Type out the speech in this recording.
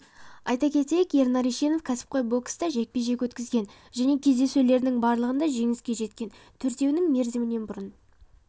айта кетейік ернар ешенов кәсіпқой бокста жекпе-жек өткізген және кездесулерінің барлығында жеңіске жеткен төртеуін мерзімінен бұрын